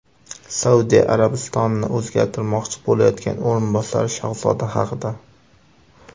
Saudiya Arabistonini o‘zgartirmoqchi bo‘layotgan o‘rinbosar shahzoda haqida.